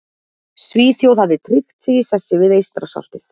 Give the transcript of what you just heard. Svíþjóð hafði tryggt sig í sessi við Eystrasaltið.